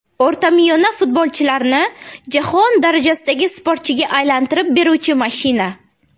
O‘rtamiyona futbolchilarni jahon darajasidagi sportchiga aylantirib beruvchi mashina”.